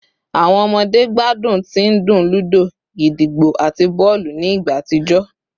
Awọn ọmọde gbadun ti ndun ludo, gídígbò, ati bọọlu ni igba atijọ